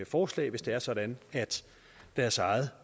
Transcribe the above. forslag hvis det er sådan at deres eget